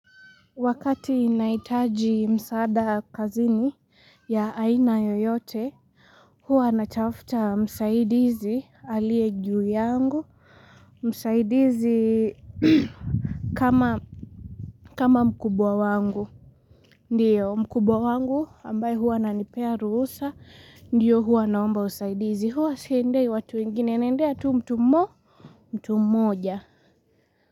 Wakati inahitaji msaada kazini, ya aina yoyote, huwa anatafuta msaidizi aliye juu yangu, msaidizi kama mkubwa wangu, ndio mkubwa wangu ambaye huwa ananipea ruhusa, ndio huwa naomba usaidizi, huwa siendei watu wengine, naendea tu mtu mo, mtu moja.